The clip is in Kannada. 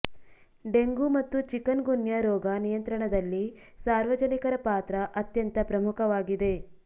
ಡೆಂಗು ಮತ್ತು ಚಿಕನ್ ಗುನ್ಯಾ ರೋಗ ನಿಯಂತ್ರಣದಲ್ಲಿ ಸಾರ್ವಜನಿಕರ ಪಾತ್ರ ಅತ್ಯಂತ ಪ್ರಮುಖವಾಗಿದೆ